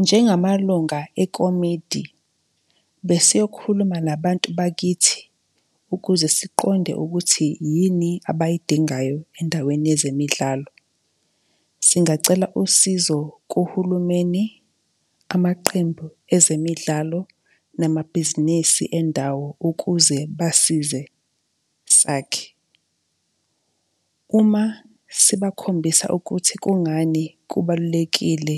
Njengamalunga ekomidi, besiyokhuluma nabantu bakithi, ukuze siqonde ukuthi yini abayidingayo endaweni yezemidlalo. Singacela usizo kuhulumeni, amaqembu ezemidlalo, namabhizinisi endawo ukuze basize sakhe. Uma sibakhombisa ukuthi kungani kubalulekile